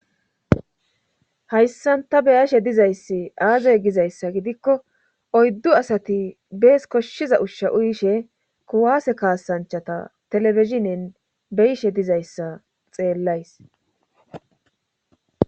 Hayssanta beyashe dizayssi aazey gizayssa gidikko oyddu asati bees koshshiza ushsha uyishe kuwaase kaasanchata telebizhinin beyishe dizayssa xeellays.